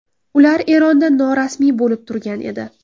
Ular Eronda norasmiy bo‘lib turgan edi.